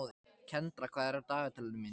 Kendra, hvað er á dagatalinu mínu í dag?